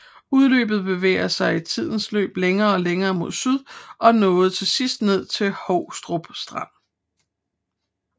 Udløbet bevægede sig i tidens løb længere og længere mod syd og nåede til sidst ned til Houstrup Strand